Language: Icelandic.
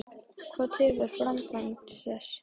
Hvað tefur framkvæmd þess?